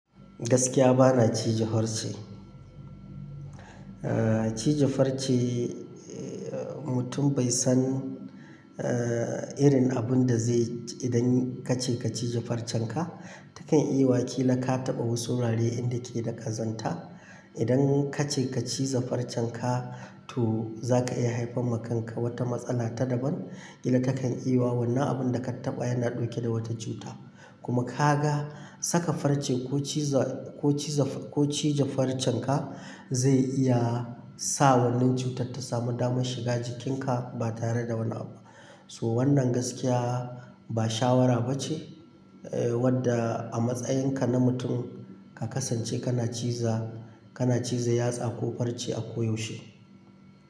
Gaskiya bana cije farce. Cije farce mutum bai san irin abun da zai idan kace ka cije farcen ka, ta kan iya wakila ka taɓa wasu wurare inda ke da ƙazanta. Idan kace ka cije farcen ka to za ka iya haifar wa kanka wata matsala ta daban. Kila takan yi wa wannan abun da ka taɓa yana ɗauke da wata cuta. Kuma ka ga saka farce ko cije farcen ka zai iya sa wannan cutar ta samu damar shiga jikinka ba tare da wani abu. So wannan gaskiya ba shawara ba ce wadda a matsayin ka na mutum ka kasance kana ci za kana cije yatsa ko farce a koyaushe.